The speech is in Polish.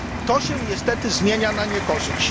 To się niestety zmienia na niekorzyść.